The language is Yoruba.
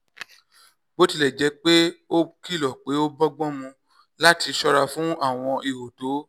bó tilẹ̀ jẹ́ pé ó kìlọ̀ pé ó bọ́gbọ́n mu láti ṣọ́ra fún àwọn ihò tó